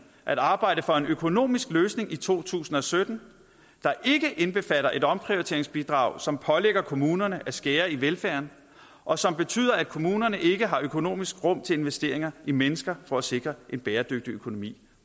at arbejde for en økonomisk løsning i to tusind og sytten der ikke indbefatter et omprioriteringsbidrag som pålægger kommunerne at skære i velfærden og som betyder at kommunerne ikke har økonomisk rum til investeringer i mennesker for at sikre en bæredygtig økonomi